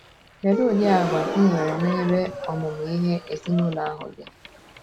Kedu udi Àgwà ị nwere n’ebe ọmụmụ ihe ezinụlọ ahụ dị?